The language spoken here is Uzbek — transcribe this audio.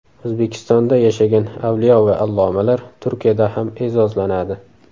O‘zbekistonda yashagan avliyo va allomalar Turkiyada ham e’zozlanadi.